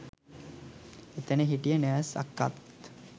එතන හිටිය නර්ස් අක්කාත්